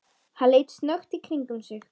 Hann leit snöggt í kringum sig.